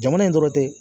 Jamana in dɔrɔn tɛ